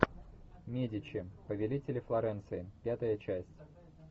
медичи повелители флоренции пятая часть